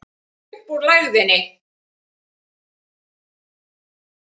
Upp úr lægðinni